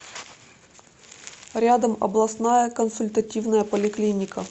рядом областная консультативная поликлиника